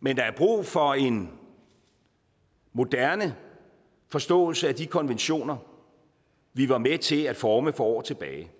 men der er brug for en moderne forståelse af de konventioner vi var med til at forme for år tilbage